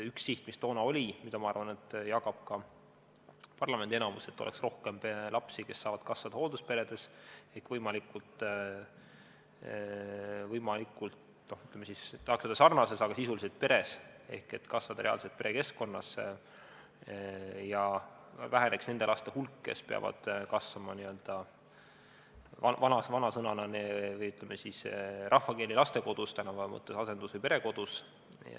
Üks siht, mis toona oli ja mida, ma arvan, jagab ka parlamendi enamus, oli see, et oleks rohkem lapsi, kes saavad kasvada hooldusperes, sisuliselt peres, ehk kasvada reaalselt perekeskkonnas, ja väheneks nende laste hulk, kes peavad kasvama – n-ö vana sõna kasutades, rahvakeeli öeldes – lastekodus, tänapäeva mõttes asendus- või perekodus.